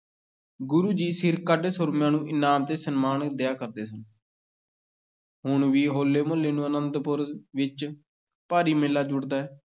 ਗੁਰੂ ਜੀ ਸਿਰਕੱਢ ਸੂਰਮਿਆਂ ਨੂੰ ਇਨਾਮ ਤੇ ਸਨਮਾਨ ਦਿਆ ਕਰਦੇ ਸਨ ਹੁਣ ਵੀ ਹੋਲੇ-ਮਹੱਲੇ ਨੂੰ ਅਨੰਦਪੁਰ ਵਿੱਚ ਭਾਰੀ ਮੇਲਾ ਜੁੜਦਾ ਹੈ।